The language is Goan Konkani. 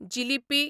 जिलिपी